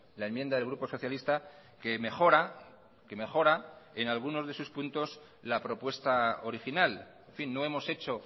la enmienda del grupo socialista que mejora que mejora en algunos de sus puntos la propuesta original en fin no hemos hecho